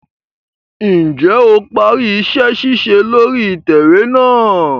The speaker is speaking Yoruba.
Njẹ o parí iṣẹ-ṣiṣe lórí itẹwe náà?